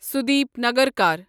Sudeep Nagarkar